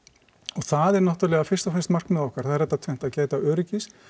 og það er náttúrulega fyrst og fremst markmið okkar það er þetta tvennt að gæta öryggis